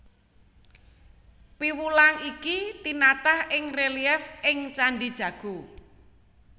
Piwulang iki tinatah ing relief ing Candhi Jago